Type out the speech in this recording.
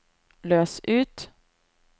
løs ut